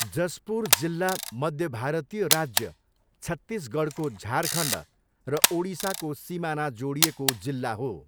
जसपुर जिल्ला मध्य भारतीय राज्य छत्तिसगढको झारखण्ड र ओडिसाको सिमाना जोडिएको जिल्ला हो।